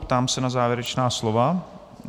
Ptám se na závěrečná slova.